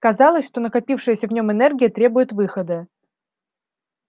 казалось что накопившаяся в нем энергия требует выхода